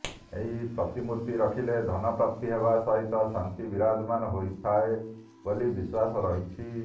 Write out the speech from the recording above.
ଏହି ପ୍ରତିମୂର୍ତ୍ତି ରଖିଲେ ଧନପ୍ରାପ୍ତି ହେବା ସହିତ ଶାନ୍ତି ବିରାଜମାନ ହୋଇଥାଏ ବୋଲି ବିଶ୍ୱାସ ରହିଛି